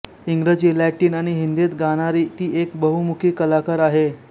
इंग्रजी लॅटिन आणि हिंदीत गाणारी ती एक बहुमुखी कलाकार आहे